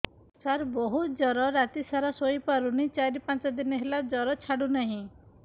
ସାର ବହୁତ ଜର ରାତି ସାରା ଶୋଇପାରୁନି ଚାରି ପାଞ୍ଚ ଦିନ ହେଲା ଜର ଛାଡ଼ୁ ନାହିଁ